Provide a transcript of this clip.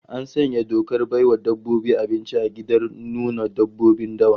An sanya dokar bai wa dabbobi abinci a gidan nuna dabbobin dawa